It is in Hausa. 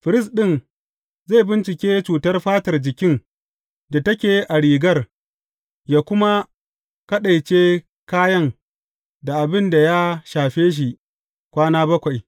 Firist ɗin zai bincike cutar fatar jikin da take a rigar, yă kuma kaɗaice kayan da abin ya shafe shi kwana bakwai.